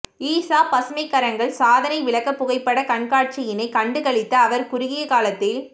ஈஷா பசுமைக்கரங்கள் சாதனை விளக்க புகைப்பட கண்காட்சியினை கண்டு களித்த அவர் குறுகிய காலத்தில்